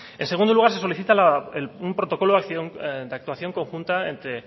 en segundo lugar se solicita un protocolo de actuación conjunta entre